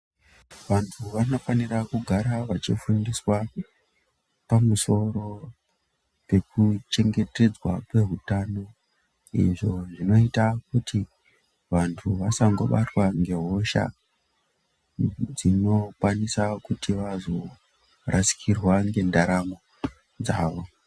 Vantu vanofanira kugara vachifundiswa pamusoro pekuchengetedzwa kwehutano. Izvo zvinoita kuti vantu vasangobatwa ngehosha dzinokwanisa kuti vazorasikirwa ngendaramo dzavo.